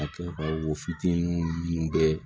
A kɛ ka wo fitinin minnu bɛ